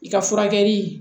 I ka furakɛli